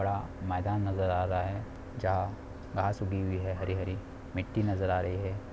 बड़ा मैदान नजर आ रहा है जहाँ घास उगी हुई है हरी हरी मिट्टी नजर आ रही है।